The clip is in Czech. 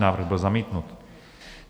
Návrh byl zamítnut.